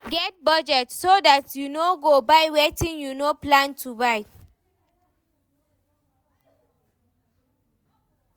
Get budget so dat you no go buy wetin you no plan to buy